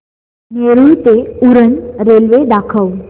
नेरूळ ते उरण रेल्वे दाखव